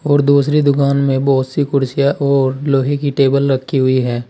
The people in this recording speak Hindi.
और दूसरी दुकान में बहोत सी कुर्सियां और लोहे की टेबल रखी हुई है।